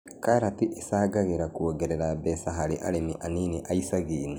Karati ĩcangagĩra kuongerera mbeca hari arĩmi anini a icagi-inĩ